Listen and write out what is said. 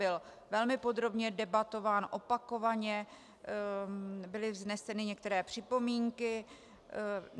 Byl velmi podrobně debatován, opakovaně byly vzneseny některé připomínky.